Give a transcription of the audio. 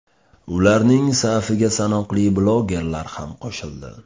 Ularning safiga sanoqli blogerlar ham qo‘shildi.